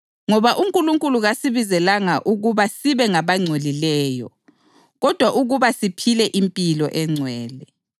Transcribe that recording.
Ngoba uNkulunkulu kasibizelanga ukuba sibe ngabangcolileyo kodwa ukuba siphile impilo engcwele.